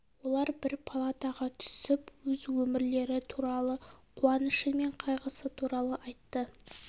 олар бір палатаға түсіп өз өмірлері туралы қуанышы мен қайғысы туралы айтты